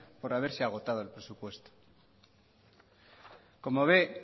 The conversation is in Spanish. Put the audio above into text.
por haberse agotado el presupuesto como ve